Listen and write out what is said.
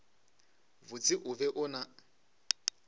botse o be o na